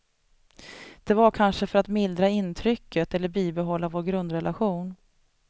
Det var kanske för att mildra intrycket eller bibehålla vår grundrelation.